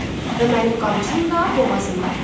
Və mənim qamçım da boğazındadır.